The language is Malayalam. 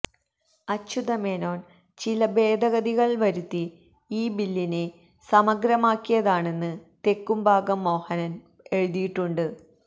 അച്യുതമേനോന് ചില ഭേദഗതികള് വരുത്തി ഈ ബില്ലിനെ സമഗ്രമാക്കിയതാണെന്ന് തെക്കുംഭാഗം മോഹന് എഴുതിയിട്ടുണ്ട്